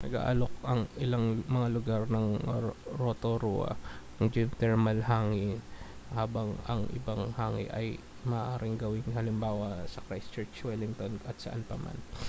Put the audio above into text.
nag-aalok ang ilang mga lugar ng rotorua ng geothermal hangi habang ang ibang hangi ay maaaring gawing halimbawa sa christchurch wellington at saan pa man